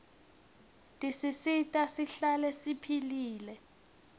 tisisita sihlale siphilile